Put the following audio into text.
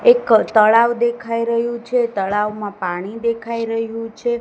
એક તળાવ દેખાઈ રહ્યુ છે તળાવમાં પાણી દેખાઈ રહ્યુ છે.